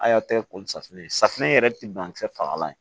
A y'a kɛ ko safunɛ ye safunɛ yɛrɛ tɛ ban kisɛ fagalan ye